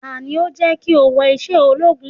Tani ó jẹ́ kí o wọ iṣẹ́ ológun?